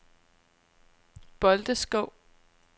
Bolteskov